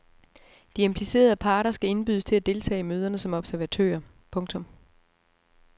De implicerede parter skal indbydes til at deltage i møderne som observatører. punktum